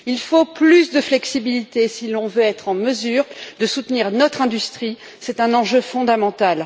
Il faut plus de flexibilité si l'on veut être en mesure de soutenir notre industrie, c'est un enjeu fondamental.